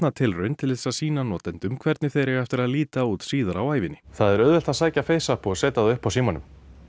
tilraun til að sýna notendum hvernig þeir eiga eftir að líta út síðar á ævinni það er auðvelt að sækja FaceApp og setja upp á símanum